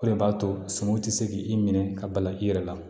O de b'a to suman ti se k'i minɛ ka bala i yɛrɛ la